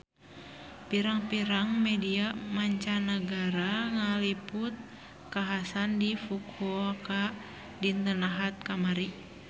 Pirang-pirang media mancanagara ngaliput kakhasan di Fukuoka dinten Ahad kamari